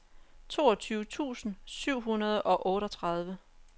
toogtyve tusind syv hundrede og otteogtredive